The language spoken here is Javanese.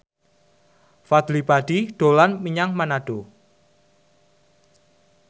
Fadly Padi dolan menyang Manado